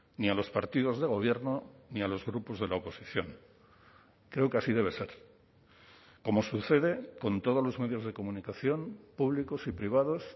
ni a los partidos de gobierno ni a los grupos de la oposición creo que así debe ser como sucede con todos los medios de comunicación públicos y privados